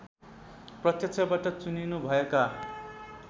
प्रत्यक्षबाट चुनिनुभएका